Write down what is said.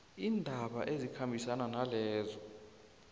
iindaba ezikhambisana nalezo